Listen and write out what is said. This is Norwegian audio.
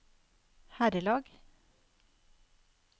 herrelag